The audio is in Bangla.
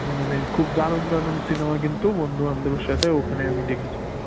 মানে খুব দারুন দারুন cinema কিন্তু বন্ধু বান্ধবের সাথে ওখানে আমি দেখেছি।